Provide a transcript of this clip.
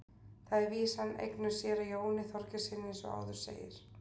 Þar er vísan eignuð séra Jóni Þorgeirssyni eins og áður segir.